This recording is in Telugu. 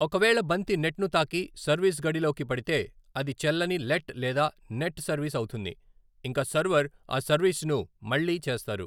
ఒకవేళ బంతి నెట్ను తాకి సర్వీస్ గడిలోకి పడితే, అది చెల్లని లెట్ లేదా నెట్ సర్వీస్ అవుతుంది, ఇంకా సర్వర్ ఆ సర్వీస్ను మళ్ళీ చేస్తారు.